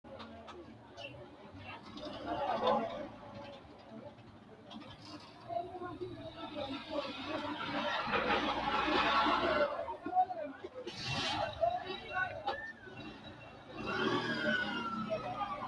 Isayyo Borreessa Biddissa Tenne fooliishsho giddo layinki lamala giddo isayyo borreessate rosira qixxeessi’rootto borro konni woroonni shiqqino buuxote safaraano la’anni qolte taashshite mucci assite borreessi.